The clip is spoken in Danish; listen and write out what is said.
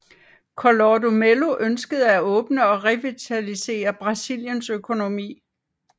Collor de Mello ønskede at åbne og revitalisere Brasiliens økonomi